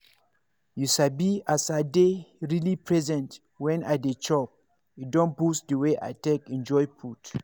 you sabi as i dey really present when i dey chop e don boost the way i take enjoy food.